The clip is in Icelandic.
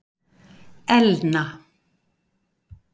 Elna